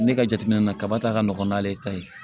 Ne ka jateminɛ na kaba ta ka nɔgɔn n'ale ta ye